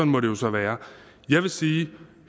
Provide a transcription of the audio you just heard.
må det jo så være jeg vil sige